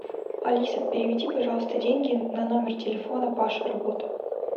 алиса переведи пожалуйста деньги на номер телефона паша работа